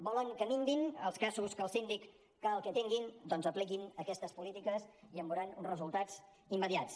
volen que minvin els casos que el síndic cal que atengui doncs apliquin aquestes polítiques i en veuran resultats immediats